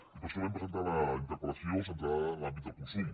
i per això vam presentar la interpel·lació centrada en l’àmbit del consum